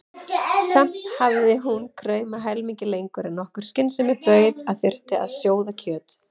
Samt hafði hún kraumað helmingi lengur en nokkur skynsemi bauð að þyrfti að sjóða kjöt.